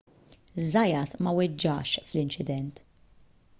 zayat ma weġġax fl-inċident